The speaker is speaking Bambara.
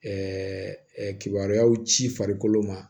kibaruyaw ci farikolo ma